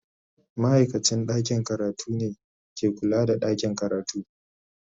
Ma'aikacin ɗakin karatu ne ke kula da ɗakin karatu.